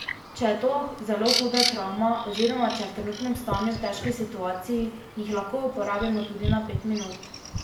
Če je to zelo huda travma oziroma če je v trenutnem stanju v težki situaciji, jih lahko uporabimo tudi na pet minut.